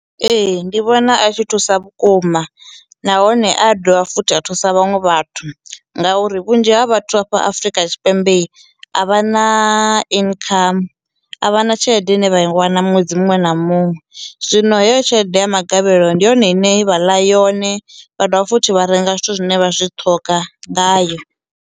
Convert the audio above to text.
Ee ndi vhona a tshi thusa vhukuma nahone a dovha futhi a thusa vhaṅwe vhathu ngauri vhunzhi ha vhathu a fha Afrika Tshipembe i a vha na income a vha na tshelede ine vha i wana ṅwedzi muṅwe na muṅwe zwino heyo tshelede ya magavhelo ndi yone ine vha ḽa yone vha dovha futhi vha renga zwithu zwine vha zwi ṱhoga ngayo.